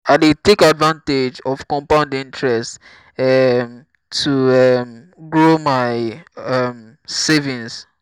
i dey take advantage of compound interest um to um grow my um savings.